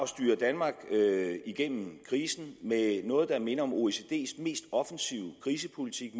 styre danmark igennem krisen med noget der minder om oecd’s mest offensive krisepolitik